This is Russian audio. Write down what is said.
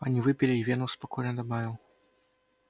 они выпили и венус спокойно добавил